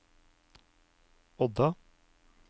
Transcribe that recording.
Odda